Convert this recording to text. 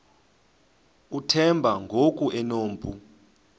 uthemba ngoku enompu